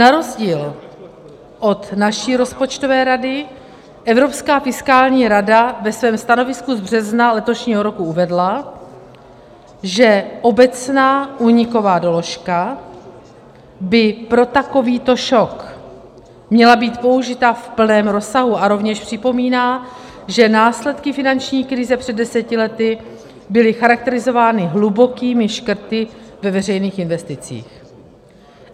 Na rozdíl od naší rozpočtové rady Evropská fiskální rada ve svém stanovisku z března letošního roku uvedla, že obecná úniková doložka by pro takovýto šok měla být použita v plném rozsahu, a rovněž připomíná, že následky finanční krize před deseti lety byly charakterizovány hlubokými škrty ve veřejných investicích.